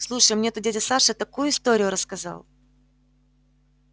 слушай мне тут дядя саша такую историю рассказал